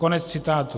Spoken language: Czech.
Konec citátu.